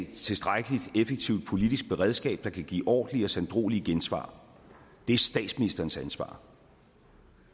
tilstrækkeligt effektivt politisk beredskab der kan give ordentlige og sanddruelige gensvar det er statsministerens ansvar